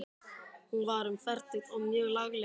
Hún var um fertugt og mjög lagleg.